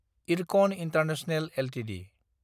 IRCON international Ltd